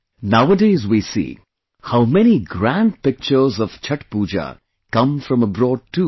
Nowadays we see, how many grand pictures of Chhath Puja come from abroad too